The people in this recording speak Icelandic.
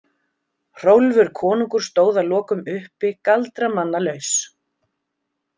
Hrólfur konungur stóð að lokum uppi galdramannalaus.